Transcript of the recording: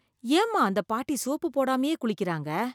ஏம்மா அந்த பாட்டி சோப்பு போடாமயே குளிக்கறாங்க?